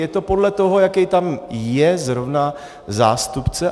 Je to podle toho, jaký tam je zrovna zástupce.